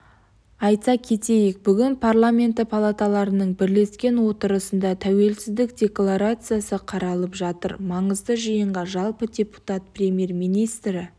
айта кетейік бүгін парламенті палаталарының бірлескен отырысында тәуелсіздік декларациясы қаралып жатыр маңызды жиынға жалпы депутат премьер-министрі